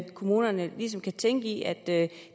at kommunerne ligesom kan tænke i at